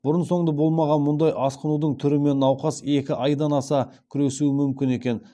бұрын соңды болмаған мұндай асқынудың түрімен науқас екі айдан аса күресуі мүмкін екен